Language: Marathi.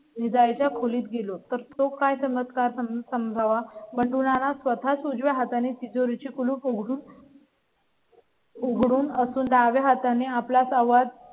विजया च्या खोलीत गेलो तर तो काय चमत्कार समजावा? बंडू नाना स्वतःस उजवा हात आणि तिजोरी चे कुलूप उघडून. उघडून असून डाव्या हाताने आपला संवाद.